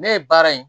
Ne ye baara in